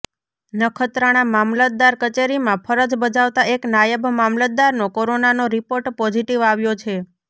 નખત્રાણા મામલતદાર કચેરીમાં ફરજ બજાવતા એક નાયબ મામલતદારનો કોરોનાનો રિપોર્ટ પોઝિટિવ આવ્યો છે